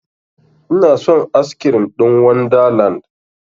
Inason askirim ɗin wanda land